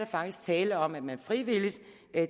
faktisk tale om at man frivilligt